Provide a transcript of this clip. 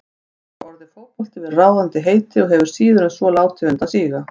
Þar hefur orðið fótbolti verið ráðandi heiti og hefur síður en svo látið undan síga.